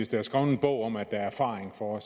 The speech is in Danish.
der er skrevet en bog om at der er erfaring for